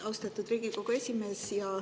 Austatud Riigikogu esimees!